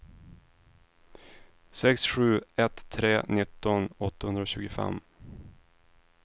sex sju ett tre nitton åttahundratjugofem